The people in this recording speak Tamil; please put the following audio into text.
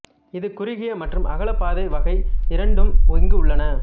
இது குறுகிய மற்றும் அகலப் பாதை வகை இரண்டும் இங்கு உள்ளன